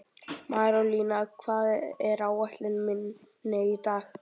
Marólína, hvað er á áætluninni minni í dag?